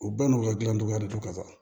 U ba n'u ka gilan cogoya de don ka sa